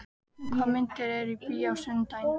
Högna, hvaða myndir eru í bíó á sunnudaginn?